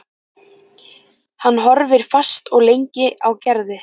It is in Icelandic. Hann horfði fast og lengi á Gerði.